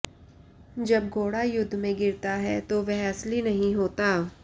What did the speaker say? जब घोड़ा युद्ध में गिरता है तो वह असली नहीं होता